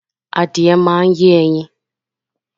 Adìye máa ń yé ẹyin